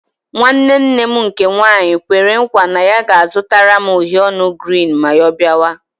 Nwanne nne m nke nwaanyị kwere nkwa na ya ga-azụtara m uhiè ọnụ girini ma ọ bịa ọzọ